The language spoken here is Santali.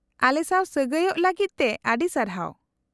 -ᱟᱞᱮᱥᱟᱶ ᱥᱟᱹᱜᱟᱹᱭᱚᱜ ᱞᱟᱹᱜᱤᱫ ᱛᱮ ᱟᱹᱰᱤ ᱥᱟᱨᱦᱟᱣ ᱾